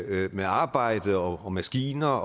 med arbejdet og maskiner